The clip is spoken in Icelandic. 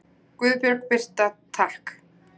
Guðbjörg Birta: Takk.